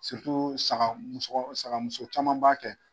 saga sagamuso caman b'a kɛ.